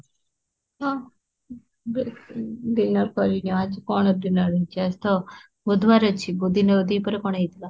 ହଁ dinner କରିକି ଆଜି କଣ dinner ହେଇଛି ଆଜି ତ ବୁଧବାର ଅଛି ଦିହିପରେ କଣ ହେଇଥିଲା